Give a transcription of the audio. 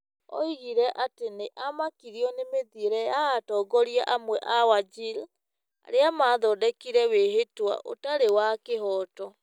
Oigire atĩ nĩ amakirio nĩ mĩthiĩre ya atongoria amwe a Wajir arĩa maathondekire wĩhĩtwa ũtarĩ wa kĩhooto